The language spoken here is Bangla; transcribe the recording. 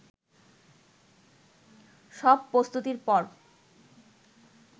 সব প্রস্তুতির পর